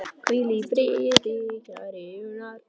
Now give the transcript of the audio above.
Hvíl í friði, kæri Unnar.